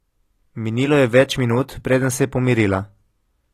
Minilo je več minut, preden se je pomirila.